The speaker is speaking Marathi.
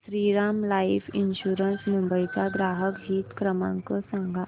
श्रीराम लाइफ इन्शुरंस मुंबई चा ग्राहक हित क्रमांक सांगा